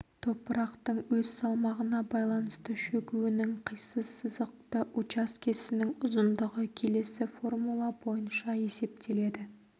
топырақтың өз салмағына байланысты шөгуінің қисыз сызықты учаскесінің ұзындығы келесі формула бойынша есептеледі